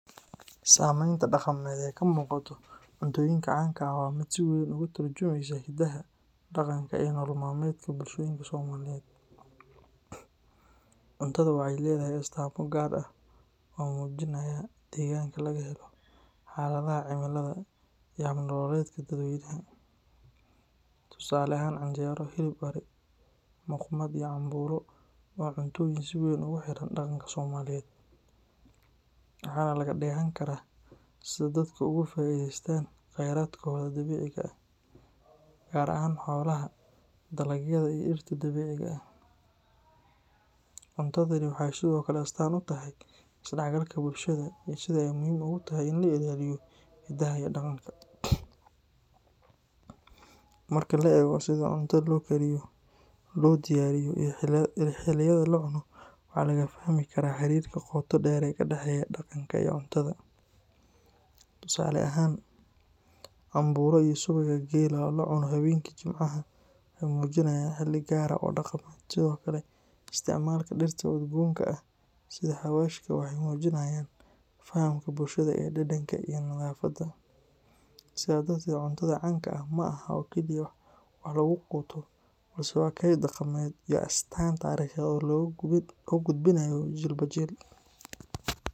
Sameynta dhaqameed ee ka muuqata cuntoyinka caanka ah waa mid si weyn uga turjumeysa hiddaha, dhaqanka iyo nolol maalmeedka bulshooyinka Soomaaliyeed. Cuntada waxay leedahay astaamo gaar ah oo muujinaya deegaanka laga helo, xaaladaha cimilada, iyo hab nololeedka dadweynaha. Tusaale ahaan, canjeero, hilib ari, muqmad iyo cambuulo waa cuntooyin si weyn ugu xidhan dhaqanka Soomaaliyeed, waxaana laga dheehan karaa sida dadku uga faa’iideystaan kheyraadkooda dabiiciga ah, gaar ahaan xoolaha, dalagyada, iyo dhirta dabiiciga ah. Cuntadani waxay sidoo kale astaan u tahay isdhaxgalka bulshada iyo sida ay muhiim ugu tahay in la ilaaliyo hidaha iyo dhaqanka. Marka la eego sida cuntada loo kariyo, loo diyaariyo, iyo xilliyada la cuno, waxaa laga fahmi karaa xiriirka qoto dheer ee ka dhexeeya dhaqanka iyo cuntada. Tusaale ahaan, cambuulo iyo subagga geela oo la cuno habeenkii Jimcaha waxay muujinayaan xilli gaar ah oo dhaqameed. Sidoo kale, isticmaalka dhirta udgoonka ah sida xawaashka waxay muujinayaan fahamka bulshada ee dhadhanka iyo nadaafadda. Sidaa darteed, cuntada caanka ah ma aha oo keliya wax lagu quuto balse waa kayd dhaqameed iyo astaan taariikheed oo la gudbinayo jiilba jiil.